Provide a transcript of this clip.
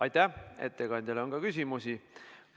Aitäh, ettekandjale on ka küsimusi.